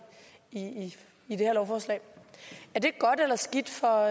her lovforslag er det godt eller skidt for